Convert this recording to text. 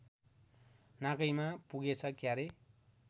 नाकैमा पुगेछ क्यारे